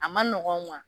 A ma nɔgɔn